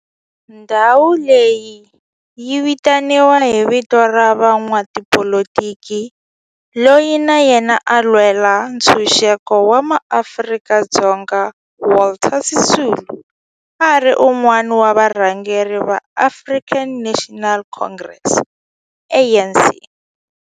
Ndhawo leyi yi vitaniwa hi vito ra n'watipolitiki loyi na yena a lwela ntshuxeko wa maAfrika-Dzonga Walter Sisulu, a ri wun'wana wa varhangeri va African National Congress, ANC.